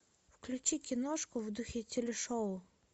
включи киношку в духе телешоу